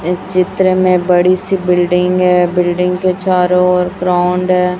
इस चित्र में बड़ी सी बिल्डिंग है बिल्डिंग के चारों ओर ग्राउंड हैं।